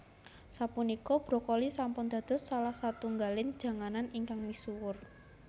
Sapunika brokoli sampun dados salah satunggalipun janganan ingkang misuwur